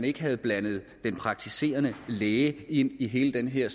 ikke havde blandet den praktiserende læge ind i hele den her